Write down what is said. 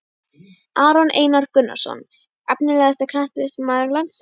Aron Einar Gunnarsson Efnilegasti knattspyrnumaður landsins?